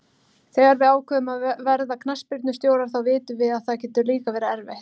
Þegar við ákveðum að verða knattspyrnustjórar þá vitum við að það getur líka verið erfitt.